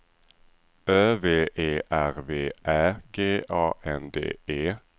Ö V E R V Ä G A N D E